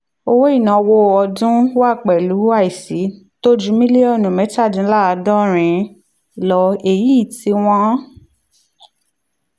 owó ìnáwó ọdún wá pẹ̀lú àìsí tó ju mílíọ̀nù mẹ́tàdínláàádọ́rin lọ èyí ì tí wọ́n